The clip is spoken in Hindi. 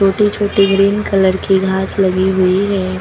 छोटी छोटी ग्रीन कलर की घास लगी हुई है।